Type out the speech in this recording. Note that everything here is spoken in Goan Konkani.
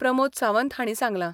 प्रमोद सावंत हांणी सांगलां.